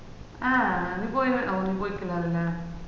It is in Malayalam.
ആഹ് നീ പോയി ഓ നീ പോയിക്കൂലാലേ